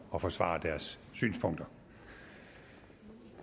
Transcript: at forsvare deres synspunkter